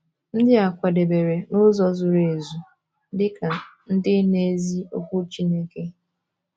Ndị A Kwadebere n’Ụzọ Zuru Ezu Dị Ka Ndị Na - ezi Okwu Chineke